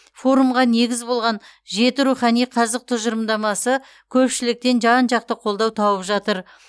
форумға негіз болған жеті рухани қазық тұжырымдамасы көпшіліктен жан жақты қолдау тауып жатыр